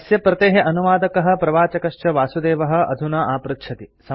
अस्य प्रतेः अनुवादकः प्रवाचकश्च वासुदेवः अधुना आपृच्छति